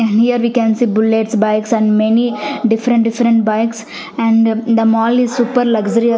here we can see bullets bikes and many different different bikes and the mall is super luxury --